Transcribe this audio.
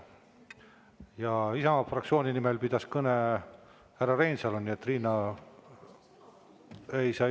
Ja Isamaa fraktsiooni nimel pidas kõne härra Reinsalu, nii et Riina ei saa.